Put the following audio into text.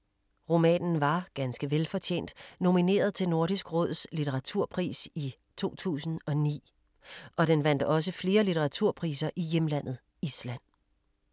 Romanen var, ganske velfortjent, nomineret til Nordisk Råds Litteraturpris i 2009 og den vandt også flere litteraturpriser i hjemlandet, Island.